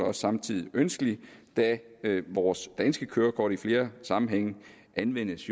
også samtidig ønskelig da vores danske kørekort i flere sammenhænge jo anvendes